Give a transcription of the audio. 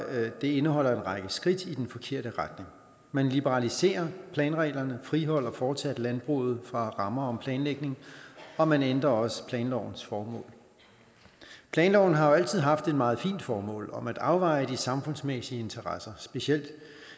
at det indeholder en række skridt i den forkerte retning man liberaliserer planreglerne og friholder fortsat landbruget fra rammer om planlægning og man ændrer også planlovens formål planloven har jo altid haft et meget fint formål om at afveje de samfundsmæssige interesser specielt